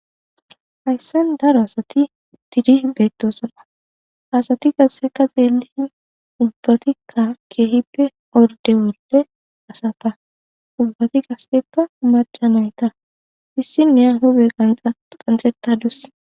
Hayssan daro asati tidi beettosona asati gasseka xeelin ubbatikka keehippe orde wolle asata ubbati gasseppa marja nayta hissinnea hube gandanxettadus.